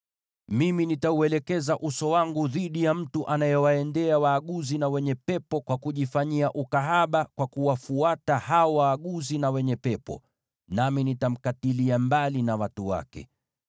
“ ‘Mimi nitauelekeza uso wangu dhidi ya mtu anayeenda kwa waaguzi na wenye pepo, na hivyo kujifanyia ukahaba kwa kuwafuata, nami nitamkatilia mbali na watu wake.